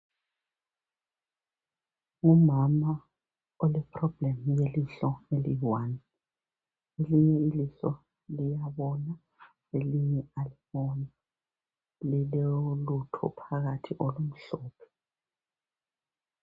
Ngumama ole problem yelihlo eliyi one, elinye ilihlo liyabona elinye aliboni lilolutho phakathi olumhlophe